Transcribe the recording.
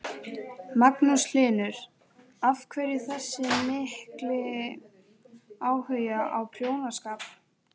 Magnús Hlynur: Af hverju þessi mikli áhugi á prjónaskap?